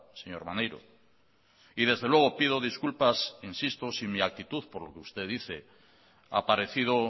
señor maneiro y desde luego pido disculpas insisto si mi actitud por lo que usted dice ha parecido